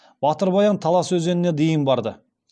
батыр баян талас өзеніне дейін барды